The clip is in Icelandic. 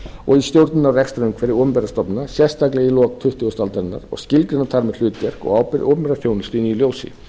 og i stjórnun og rekstri opinberra stofnana sérstaklega í lok tuttugustu aldarinnar og skilgreina þar með hlutverk og ábyrgð opinberrar þjónustu í því ljósi